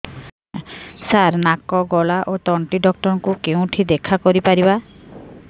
ସାର ନାକ ଗଳା ଓ ତଣ୍ଟି ଡକ୍ଟର ଙ୍କୁ କେଉଁଠି ଦେଖା କରିପାରିବା